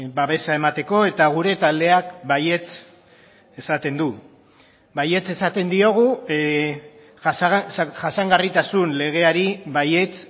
babesa emateko eta gure taldeak baietz esaten du baietz esaten diogu jasangarritasun legeari baietz